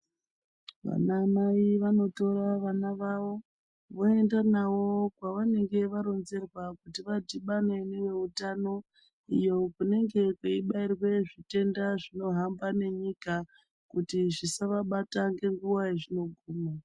Vanamai vanotora vana vavo ,voenda navo kwavanenge varonzerwa kuti vadhibane neveutano, iyo kunenge kweibairwe zvitenda zvinohamba nenyika, kuti zvisavabata ngenguwa yezvinoguma.